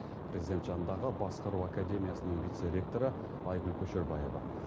президент жанындағы басқару академиясының вице ректоры айгүл көшербаева